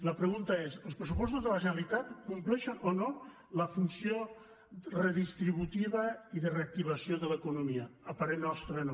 la pregunta és els pressupostos de la generalitat compleixen o no la funció redistributiva i de reactivació de l’economia a parer nostre no